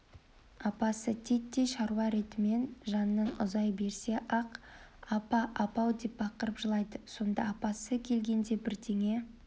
апасы титтей шаруа ретімен жанынан ұзай берсе-ақ апа апау деп бақырып жылайды сонда апасы келгенде бірдеңе